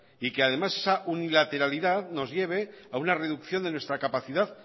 y que además esa unilateralidad nos lleve a una reducción de nuestra capacidad